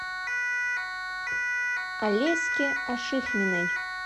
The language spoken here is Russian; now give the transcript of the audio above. алеськи ашихминой